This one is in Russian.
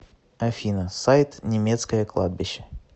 афина сайт немецкое кладбище